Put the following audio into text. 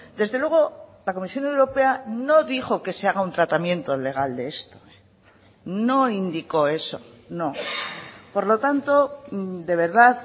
desde luego la comisión europea no dijo que se haga un tratamiento legal de esto no indicó eso no por lo tanto de verdad